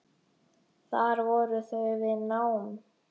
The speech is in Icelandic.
Þar voru þau við nám.